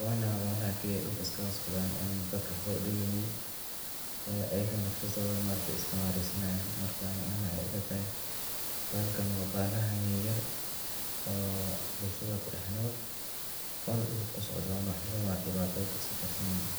waana kuwa dulka is kaaga socdaan oo dadka waxba udimeynin, ayago nafsadooda iska maresanyaan, marka ani ahaan waxeey ila tahay bahalkan waa bahalaha yar yar, oo bulshada ku dex nool oo dulka kusocdo oona waxba dibata ah dadka soo garsineynin.